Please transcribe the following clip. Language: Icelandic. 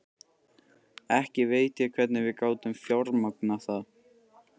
Ekki veit ég hvernig við gátum fjármagnað það.